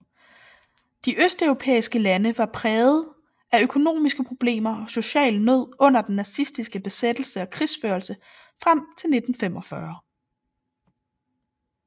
De østeuropæiske lande var prægede af økonomiske problemer og social nød under den nazistiske besættelse og krigsførelse frem til 1945